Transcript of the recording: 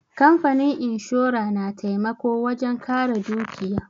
Kamfanin inshora na taimako wajen ƙare dukiya.